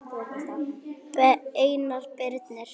Einar Birnir.